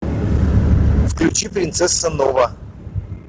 включи принцесса нова